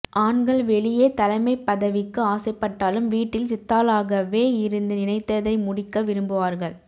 ஆண்கள் வெளியே தலைமைப் பதவிக்கு ஆசைப்பட்டாலும் வீட்டில் சித்தாளாகவே இருந்து நினைத்ததை முடிக்க விரும்புவார்கள்